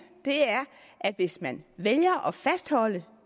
er at hvis man vælger at fastholde